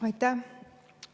Aitäh!